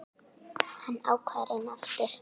Hann ákvað að reyna aftur.